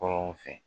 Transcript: Kɔrɔw fɛ